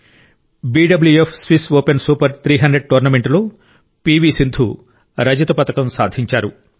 BWF Swiss Open Super 300 టోర్నమెంట్లో పివి సింధు రజత పతకం సాధించారు